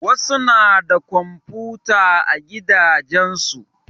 Wasu na da komfuta a gidajen su.